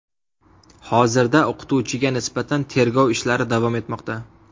Hozirda o‘qituvchiga nisbatan tergov ishlari davom etmoqda.